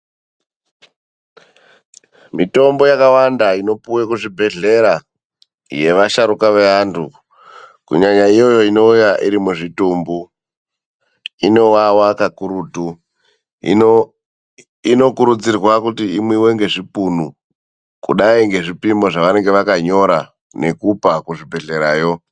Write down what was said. Mitombo yakawanda inopuwa kuzvibhedhlera yevasharuka veantu kunyanya iyoyo inouya irimuzvitumbu inowawa kakurutu. Inokurudzirwa kuti imwiwe ngezvipunu, kudai ngezvipimo zvevanenge vakanyora nekupa kuzvibhedhlerayo.